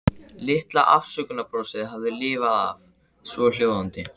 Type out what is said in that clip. Litla afsökunarbrosið hafði lifað af, svohljóðandi